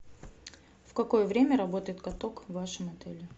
в какое время работает каток в вашем отеле